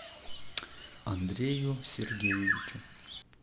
андрею сергеевичу